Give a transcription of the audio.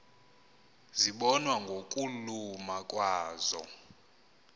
zibonwa ngokuluma kwazo